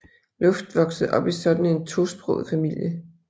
Luft voksede op i sådan en tosproget familie